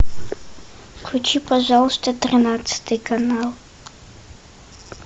включи пожалуйста тринадцатый канал